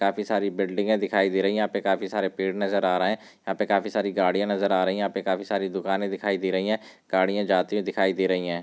काफी सारी बिल्डिंगे दिखाई दे रही हैं यहा पे काफी सारे पेड़ नज़र आ रहे हैं यहा पे काफी सारी गाड़ियां नज़र आ रही हैं यहा पे काफी सारी दुकाने दिखाई दे रही हैं गाड़ियां जाती हुई दिखाई दे रही हैं।